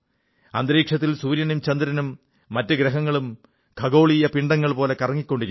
അന്തരീക്ഷത്തിൽ സൂര്യനും ചന്ദ്രനും മറ്റു ഗ്രഹങ്ങളും ഖഗോളീയ പിണ്ഡങ്ങൾ പോലെ കറങ്ങിക്കൊണ്ടിരിക്കുന്നു